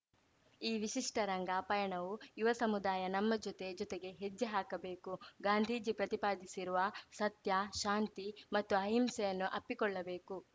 ಈ ವಿಶಿಷ್ಟರಂಗ ಪಯಣವು ಯುವ ಸಮುದಾಯ ನಮ್ಮ ಜೊತೆ ಜೊತೆಗೆ ಹೆಜ್ಜೆ ಹಾಕಬೇಕು ಗಾಂಧೀಜಿ ಪ್ರತಿಪಾದಿಸಿರುವ ಸತ್ಯ ಶಾಂತಿ ಮತ್ತು ಅಹಿಂಸೆಯನ್ನು ಅಪ್ಪಿಕೊಳ್ಳಬೇಕು